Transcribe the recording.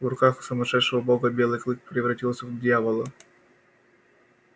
в руках сумасшедшего бога белый клык превратился в дьявола